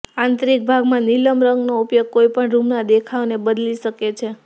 આંતરીક ભાગમાં નીલમ રંગનો ઉપયોગ કોઈપણ રૂમના દેખાવને બદલી શકે છે